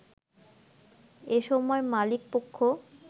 এসময় মালিকপক্ষ